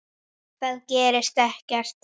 Það gerist ekkert.